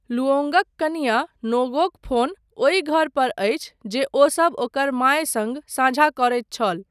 लुओंगक कनियाँ, नोगोक फोन, ओहि घर पर अछि जे ओसब ओकर माय सङ्ग साझा करैत छल।